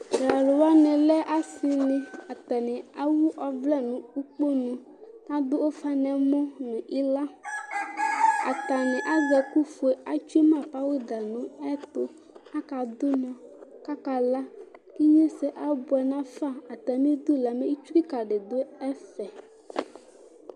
Talʊ wani alɛ asɩnɩ, atani ewʊ ɔvlɛ nu kponʊ, adʊ ʊfa nɛmɔ nɩwla Atanɩ azɛ ɛkʊ fue, atsue ma pɔwʊda nɛtʊ kakadʊ ʊnɔ kakala Ɩɣnesɛ abʊɛ nafa Atamɩdʊ la ɩtsʊ kika di dʊ ɛfɛ